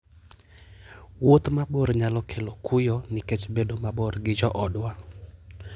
Wuoth mabor nyalo kelo kuyo nikech bedo mabor gi joodwa.